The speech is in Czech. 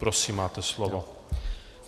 Prosím, máte slovo.